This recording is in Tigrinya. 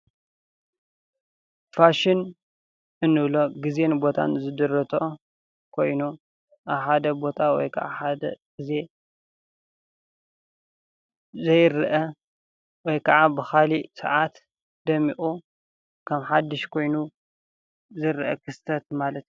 ፋሸን እንብሎ ግዜየን ቦታን ዝድረቶ ኮይኑ ኣብ ሓደ ቦታ ወይ ከዓ ሓደ ግዜየ ዘይረአ ወይ ከዓ ብኻሊእ ስዓት ደሚቁ ከም ሓዱሽ ኾይኑ ዝረአ ክስተት ማለት እዩ፡፡